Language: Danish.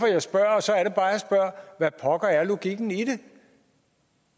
jeg spørger hvad pokker er logikken i det